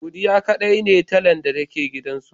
Godiya kaɗai ne talan da ke gidan su.